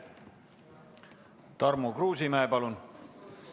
Tarmo Kruusimäe, palun!